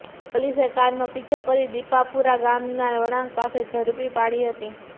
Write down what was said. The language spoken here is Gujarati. પોલીસે કારનો પીછો કરી દિપાપુરા ગામના વળાંક પાસે ઝડપી પાડી હતી